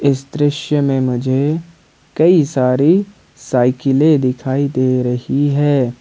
इस दृश्य में मुझे कई सारी साइकिले दिखाई दे रही है।